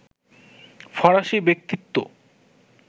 ফরাসী ব্যক্তিত্ব